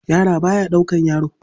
Yaro ba ya ɗaukar yaro.